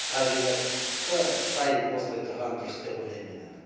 табиғатта сай осылай тұрғаны дұрыс деп ойлаймын мен енді